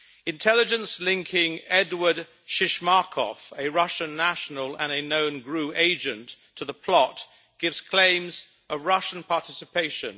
Intelligence linking Eduard Shishmakov, a Russian national and a known GRU agent, to the plot, supports claims of Russian participation.